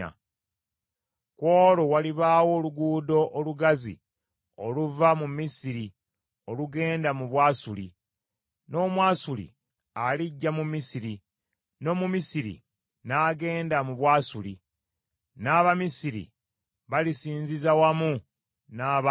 Ku olwo walibaawo oluguudo olugazi oluva mu Misiri olugenda mu Bwasuli, n’Omwasuli alijja mu Misiri, n’Omumisiri n’agenda mu Bwasuli; n’Abamisiri balisinziza wamu n’Abaasuli.